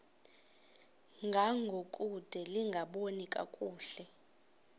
ngangokude lingaboni kakuhle